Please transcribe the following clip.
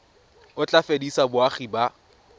o tla fedisa boagi ba